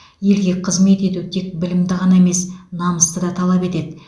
елге қызмет ету тек білімді ғана емес намысты да талап етеді